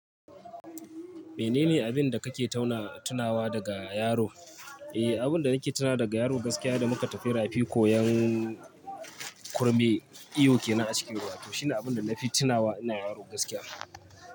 Menene abin da kake tauna tunawa daga yaro? Eh, abin da nake tunawa daga yaro gaskiya da muka tafi rafi koyan kurme iyo kenan a cikin ruwa to shine abin da na fi tunawa ina yaro gaskiya.